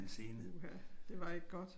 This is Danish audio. Uha det var ikke godt